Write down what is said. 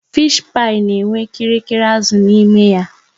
Fishi pai na enwe kirikiri azụ n'ime ya